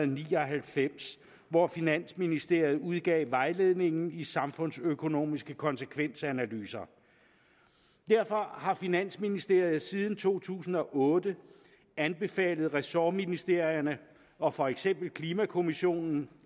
ni og halvfems hvor finansministeriet udgav vejledningen i samfundsøkonomiske konsekvensanalyser derfor har finansministeriet siden to tusind og otte anbefalet ressortministerierne og for eksempel klimakommissionen